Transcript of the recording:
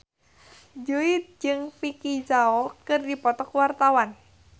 Jui jeung Vicki Zao keur dipoto ku wartawan